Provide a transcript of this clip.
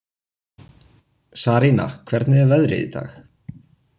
Sarína, hvernig er veðrið í dag?